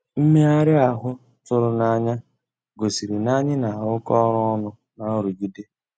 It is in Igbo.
Mmèghàrị́ ahụ́ tụ̀rụ̀ n'ànyá gosìrí ná ànyị́ ná-àrụ́kọ ọ́rụ́ ọnụ́ ná nrụ̀gídé.